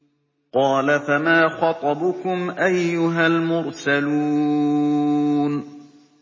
۞ قَالَ فَمَا خَطْبُكُمْ أَيُّهَا الْمُرْسَلُونَ